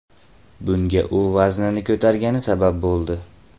Bunga u vaznini ko‘targani sabab bo‘ldi.